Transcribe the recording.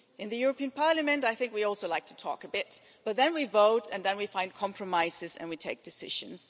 In the European Parliament I think we also like to talk a bit, but then we vote and then we find compromises and we take decisions.